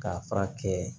K'a fura kɛ